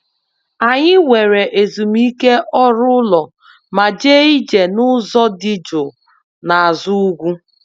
Anyị were ezumike ọrụ ụlọ ma jee ije n'ụzọ dị jụụ n'azụ ugwu